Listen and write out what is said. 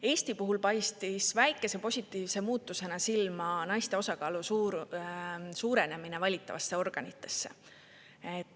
Eesti puhul paistis väikese positiivse muutusena silma naiste osakaalu suurenemine valitavates organites.